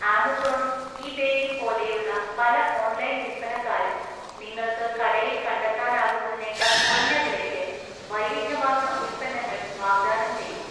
ആമസോണും ഇ ബേയും പോലെയുള്ള പല ഓൺലൈൻ വിൽപ്പനക്കാരും നിങ്ങൾക്ക് കടയിൽ കണ്ടെത്താനാകുന്നതിനേക്കാൾ കുറഞ്ഞ വിലയ്ക്ക് വൈവിധ്യമാർന്ന ഉൽപ്പന്നങ്ങൾ വാഗ്ദാനം ചെയ്യുന്നു.